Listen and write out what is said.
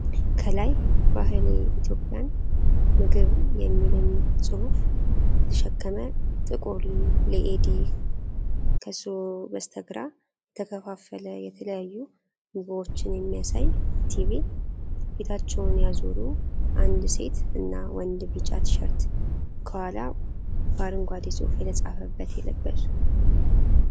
ከላይ ባሕሌ ኢትዮጵያን ምግብ የሚልን ፅሁፍ የተሸከመ ጥቁር ሌኢዲ ከሱ በስተግራ የተከፌፈሉ የተለያዩ ምግቦችን የሚያሳይ ቲቪ ፤ ፊታቸውን ያዞሩ አንድ ሴት እና ወንድ ቢጫ ቲሸርት ከኋላው በአረንጓዴ ፅሑፍ የተፃፈበት የለበሱ